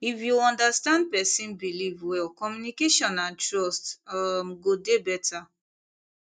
if you understand person belief well communication and trust um go dey better